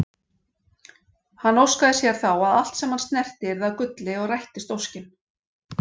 Hann óskaði sér þá að allt sem hann snerti yrði að gulli og rættist óskin.